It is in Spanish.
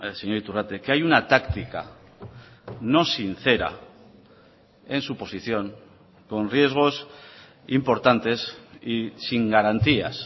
señor iturrate que hay una táctica no sincera en su posición con riesgos importantes y sin garantías